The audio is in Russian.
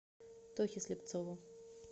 тохе слепцову